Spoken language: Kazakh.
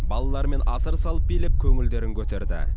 балалармен асыр салып билеп көңілдерін көтерді